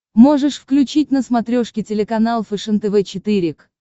можешь включить на смотрешке телеканал фэшен тв четыре к